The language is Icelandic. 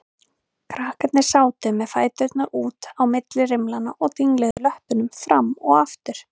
Krakkarnir sátu með fæturna út á milli rimlanna og dingluðu löppunum fram og aftur.